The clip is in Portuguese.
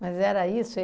Mas era isso?